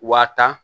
Waa tan